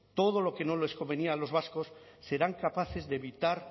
todo lo que no les convenía a los vascos serán capaces de evitar